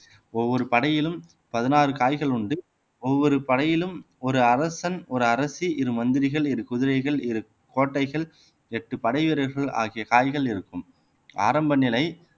ஒவ்வொரு படையிலும் பதினாறு காய்கள் உண்டு ஒவ்வொரு படையிலும் ஒரு அரசன் ஒரு அரசி இரு மந்திரிகள் இரு குதிரைகள் இரு கோட்டைகள் எட்டு படை வீரர்கள் ஆகிய காய்கள் இருக்கும் ஆரம்ப நிலை